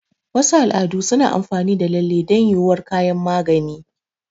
Wasu al'adu suna amfani da lalle don yuwuwar kayan magani.